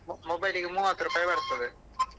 Mo~ mobile ಗೆ ಮೂವತ್ ರೂಪಾಯಿ ಬರ್ತದೆ.